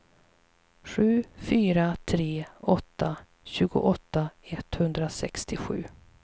sju fyra tre åtta tjugoåtta etthundrasextiosju